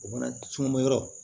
O mana cunbɔ yɔrɔ